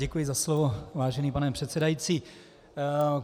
Děkuji za slovo, vážený pane předsedající.